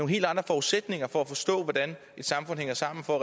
helt andre forudsætninger for at forstå hvordan et samfund hænger sammen for at